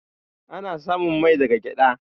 Ana samun mai daga gyaɗa.